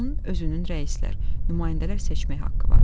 onun özünün rəislər, nümayəndələr seçmək haqqı var.